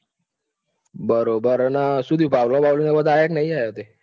બરોબર અને શું થયું ભાવલો બાવલો ને બધા યા કે નહિ તે?